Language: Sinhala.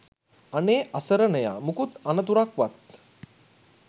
අනේ අසරණයා මුකුත් අනතුරක් වත්